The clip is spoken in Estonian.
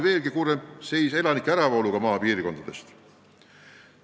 Veelgi kurvema pildi annab elanike äravool maapiirkondadest.